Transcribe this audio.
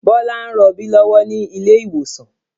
Bọlá ń rọbí lọ́wọ́ ni ilé ìwòsàn